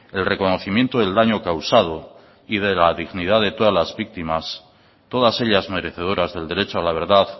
el reconocimiento del daño causado y de la dignidad de todas las víctimas todas ellas merecedoras del derecho a la verdad